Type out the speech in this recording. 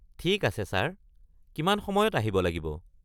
ঠিক আছে ছাৰ, কিমান সময়ত আহিব লাগিব?